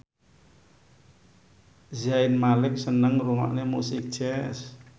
Zayn Malik seneng ngrungokne musik jazz